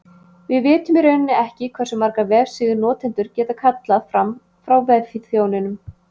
Við vitum í rauninni ekki hversu margar vefsíður notendur geta kallað fram frá vefþjóninum.